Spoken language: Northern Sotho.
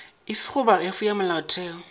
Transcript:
efe goba efe ya molaotheo